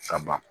Ka ban